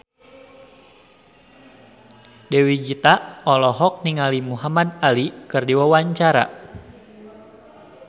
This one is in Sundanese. Dewi Gita olohok ningali Muhamad Ali keur diwawancara